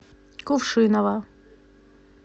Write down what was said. кувшиново